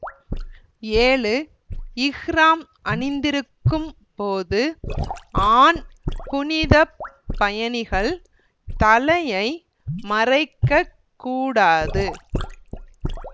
ஏழு இஹ்றாம் அணிந்திருக்கும் போது ஆண் புனித பயணிகள் தலையை மறைக்கக் கூடாது